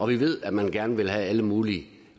vi ved at man gerne vil have alle mulige